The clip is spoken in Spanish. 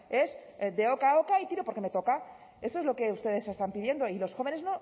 es de oca a oca y tiro porque me toca eso es lo que ustedes están pidiendo y los jóvenes